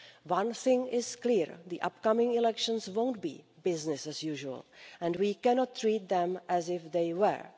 One thing is clear the upcoming elections will not be business as usual and we cannot treat them as if they were.